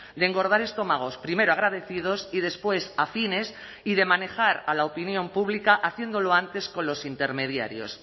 de engordar estómagos primero agradecidos y después afines y de manejar a la opinión pública haciéndolo antes con los intermediarios